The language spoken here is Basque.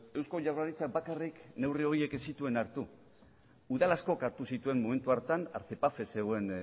eusko jaurlaritzak bakarrik neurri horiek ez zituen hartu udal askok hartu zituen momentu hartan zegoen